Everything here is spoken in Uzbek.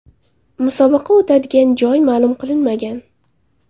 Musobaqa o‘tadigan joy ma’lum qilinmagan.